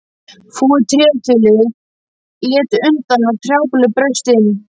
Fúið tréþilið lét undan og trjábolur braust inn.